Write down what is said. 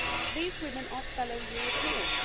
These women are fellow Europeans.